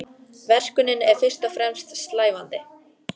Verkunin er fyrst og fremst slævandi.